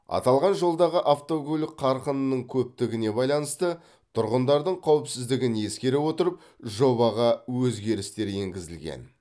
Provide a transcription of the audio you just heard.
аталған жолдағы автокөлік қарқынының көптігіне байланысты тұрғындардың қауіпсіздігін ескере отырып жобаға өзгерістер енгізілген